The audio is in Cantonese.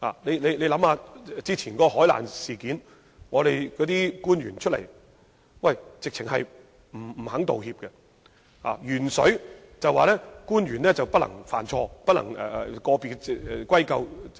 試想一下，過去的海難事件，政府官員總是不肯道歉，在鉛水事件上，政府更表示不能歸咎個別官員，態度強硬。